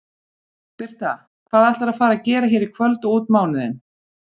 Birta: Hvað ætlarðu að fara gera hér í kvöld og út mánuðinn?